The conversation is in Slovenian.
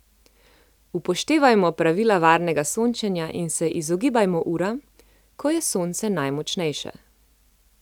Upoštevajmo pravila varnega sončenja in se izogibajmo uram, ko je sonce najmočnejše.